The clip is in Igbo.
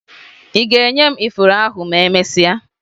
Ị ga-enye m ifuru ahụ ma emesịa?